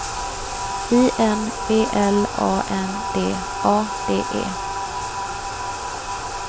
I N B L A N D A D E